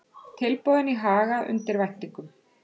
Tilboðin í Haga undir væntingum